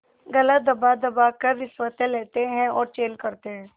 गला दबादबा कर रिश्वतें लेते हैं और चैन करते हैं